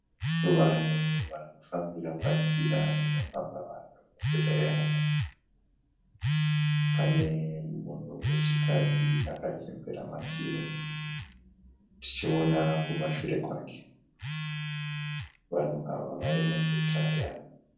Vanhu varikufambira padzira inofamba vanhu muguta reHarare. Pane munhu wechikadzi akazembera madziri tichiona kumashure kwake. Vanhu ava vari muguta reHarare.